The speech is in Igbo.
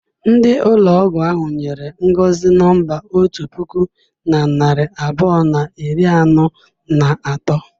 Ndi ụlọgwụ ahụ nyere Ngọzi nọmba otu puku na narị abụọ na iri anọ na atọ.